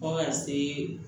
Fɔ ka se